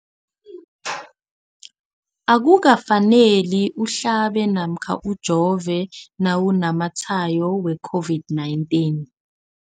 Akuka faneli uhlabe namkha ujove nawu namatshayo we-COVID-19.